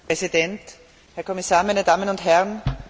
Herr Präsident, Herr Kommissar, meine Damen und Herren!